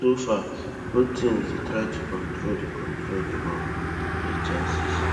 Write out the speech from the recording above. so far both teams dey try to control di control di ball and create chances